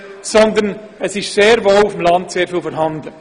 Vielmehr sind diese auch auf dem Land sehr zahlreich.